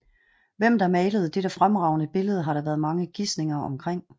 Hvem der malede dette fremragende billede har der været mange gisninger omkring